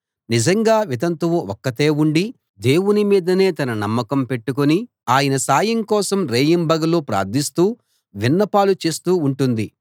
నిజంగా వితంతువు ఒక్కతే ఉండి దేవుని మీదనే తన నమ్మకం పెట్టుకుని ఆయన సాయం కోసం రేయింబగళ్ళు ప్రార్ధిస్తూ విన్నపాలు చేస్తూ ఉంటుంది